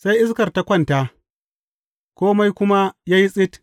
Sai iskar ta kwanta, kome kuma ya yi tsit.